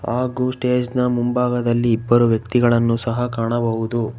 ಹಾಗೂ ಸ್ಟೇಜ್ ನ ಮುಂಭಾಗದಲ್ಲಿ ಇಬ್ಬರು ವ್ಯಕ್ತಿಗಳನ್ನು ಸಹ ಕಾಣಬಹುದು.